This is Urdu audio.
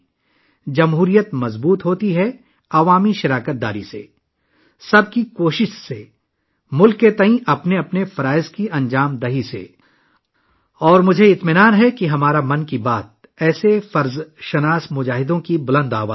جمہوریت 'عوامی شرکت سے'، 'سب کی کوشش سے'، 'ملک کے تئیں اپنے فرائض کی انجام دہی سے' مضبوط ہوتی ہے، اور مجھے اطمینان ہے کہ ہماری 'من کی بات' ایسے فرض شناس لوگوں کی مضبوط آواز ہے